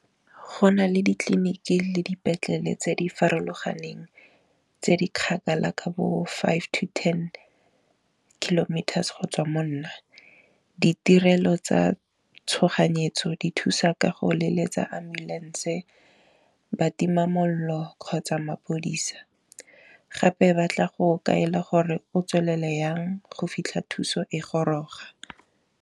Go nale ditleliniki le dipetlele tse di farologaneng tse di kgakala ka bo five to ten kilometers go tswa monna, ditirelo tsa tshoganyetso di thusa ka go leletsa ambulance-e, batimamolelo, kgotsa mapodisa, gape batla go kaela gore o tswelele yang go fitlha thuso e goroga.